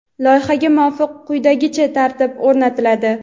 Loyihaga muvofiq quyidagicha tartib o‘rnatiladi:.